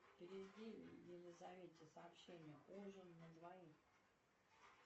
переведи елизавете сообщение ужин на двоих